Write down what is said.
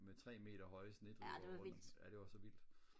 med tre meter høje snedriver rundt om ja det var så vildt